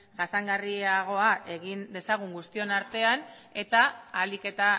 jasangarriagoa egin dezagun guztion artean eta